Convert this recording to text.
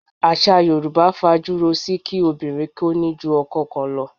Àṣà Yorùbá fajúro si kí obìnrin kó ní ju ọkọ kan lọ.